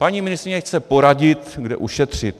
Paní ministryně chce poradit, kde ušetřit.